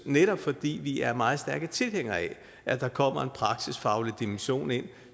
netop fordi vi er meget stærke tilhængere af at der kommer en praksisfaglig dimension ind